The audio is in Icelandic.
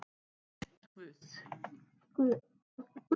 Ég er guð.